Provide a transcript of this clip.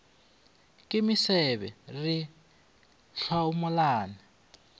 ke mesebe re a hlomolana